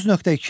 9.2.